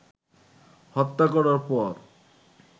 হত্যা করার পর